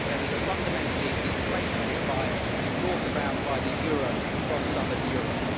There is a fundamentally deflationary bias brought about by the euro across southern Europe.